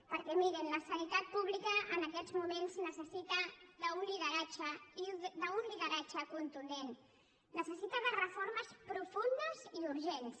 perquè mirin la sanitat pública en aquests moments necessita un lideratge un lideratge contundent necessita reformes profundes i urgents